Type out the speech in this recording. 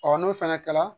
n'o fana kɛla